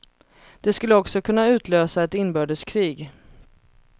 Det skulle också kunna utlösa ett inbördeskrig.